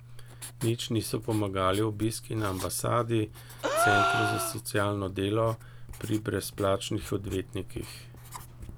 Nič niso pomagali obiski na ambasadi, centru za socialno delo, pri brezplačnih odvetnikih.